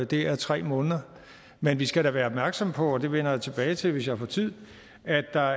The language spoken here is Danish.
det er tre måneder men vi skal da være opmærksomme på og det vender jeg tilbage til hvis jeg får tid at der